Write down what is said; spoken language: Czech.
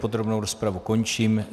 Podrobnou rozpravu končím.